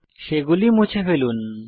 সেগুলি মুছে ফেলুন